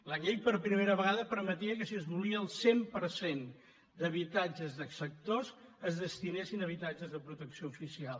la llei per primera vegada permetia que si es volia el cent per cent d’habitatges de sectors residencials estratègics es destinessin a habitatges de protecció oficial